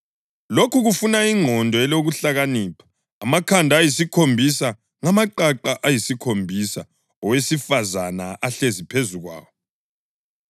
Lokhu kufuna ingqondo elokuhlakanipha. Amakhanda ayisikhombisa ngamaqaqa ayisikhombisa owesifazane ahlezi phezu kwawo.